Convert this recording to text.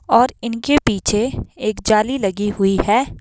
और इनके पीछे एक जाली लगी हुई है।